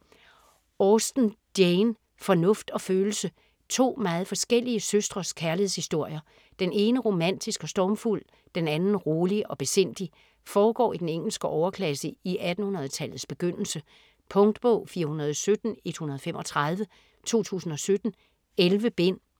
Austen, Jane: Fornuft og følelse To meget forskellige søstres kærlighedshistorier. Den ene romantisk og stormfuld, den anden rolig og besindig. Foregår i den engelske overklasse i 1800-tallets begyndelse. Punktbog 417135 2017. 11 bind.